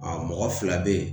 A mɔgɔ fila bɛ yen